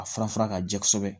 A fura fara ka jɛ kosɛbɛ